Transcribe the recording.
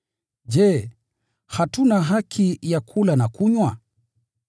Je, hatuna haki ya kula na kunywa?